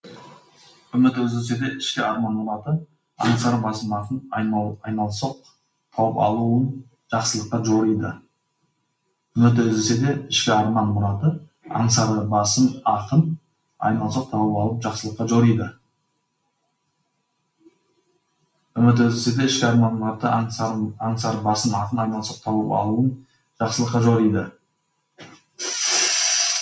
үміті үзілсе де ішкі арман мұраты аңсары басым ақын айналсоқ тауып алуын жақсылыққа жориды